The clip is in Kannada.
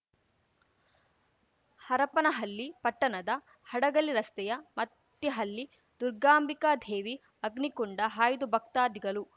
ಹರಪನಹಲ್ಲಿ ಪಟ್ಟಣದ ಹಡಗಲಿ ರಸ್ತೆಯ ಮತ್ತಿಹಲ್ಲಿ ದುರ್ಗಾಂಬಿಕಾ ಧೇವಿ ಅಗ್ನಿಕುಂಡ ಹಾಯ್ದ ಭಕ್ತಾದಿಗಲು